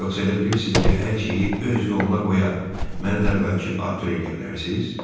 Yoxsa elə bilirsiz ki, hər şeyi öz yoluna qoya, məni də əvvəlki Artur eləyə bilərsiz?